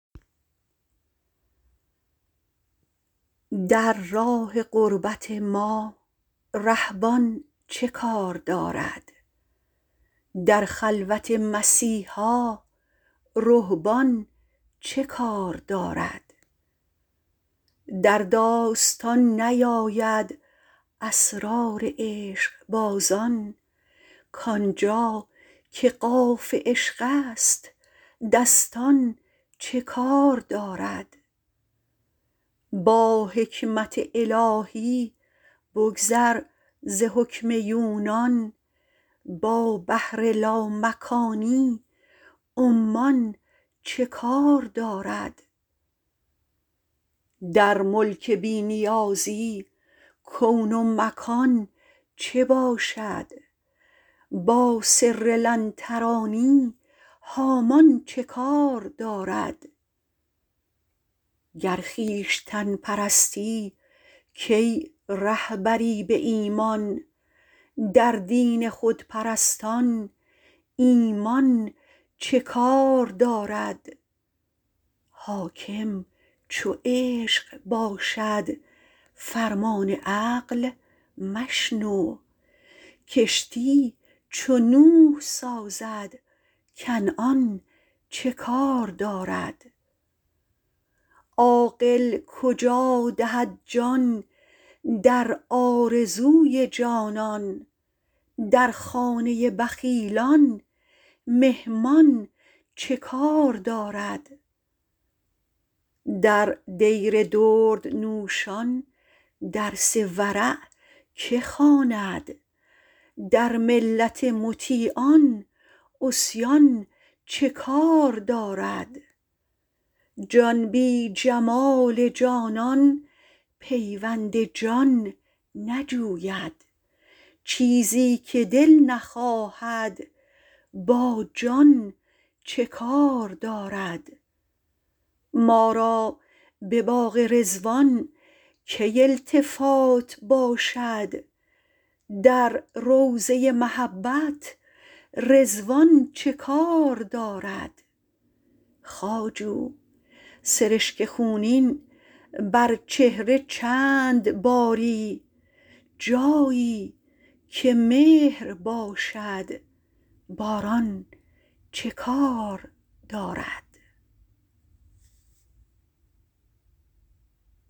در راه قربت ما ره بان چه کار دارد در خلوت مسیحا رهبان چه کار دارد در داستان نیاید اسرار عشقبازان کانجا که قاف عشقست دستان چه کار دارد با حکمت الهی بگذر ز حکم یونان با بحر لا مکانی عمان چه کار دارد در ملک بی نیازی کون و مکان چه باشد با سر لن ترانی هامان چه کار دارد گر خویشتن پرستی کی ره بری بایمان در دین خودپرستان ایمان چه کار دارد حاکم چو عشق باشد فرمان عقل مشنو کشتی چو نوح سازد کنعان چه کار دارد عاقل کجا دهد جان در آرزوی جانان در خانه ی بخیلان مهمان چه کار دارد در دیر دردنوشان درس ورع که خوند در ملت مطیعان عصیان چه کار دارد ما را بباغ رضوان کی التفات باشد در روضه ی محبت رضوان چه کار دارد خواجو سرشک خونین بر چهره چند باری جایی که مهر باشد باران چه کار دارد